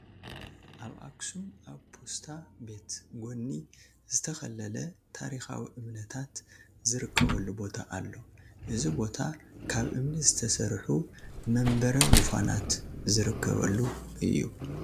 ኣብ ኣኽሱም ኣብ ፓስታ ቤት ጎኒ ዝተኸለለ ታሪካዊ እምንታት ዝርከቡሉ ቦታ ኣሎ፡፡ እዚ ቦታ ካብ እምኒ ዝተሰርሑ መንበረ ዙፋናት ዝርከበሉ እዩ፡፡